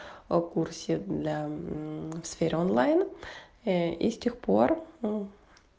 о курсе бля в сфере онлайн и и с тех пор